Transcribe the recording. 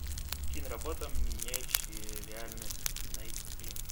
киноработа меняющие реальность найти